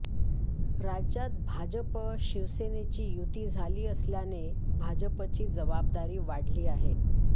राज्यात भाजप शिवसेनेची युती झाली असल्याने भाजपची जबाबदारी वाढली आहे